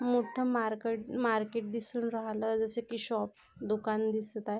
मोठ mark market दिसून राहील जशे की शॉप दुकान दिसत आहे.